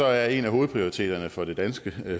er en af hovedprioriteterne for det danske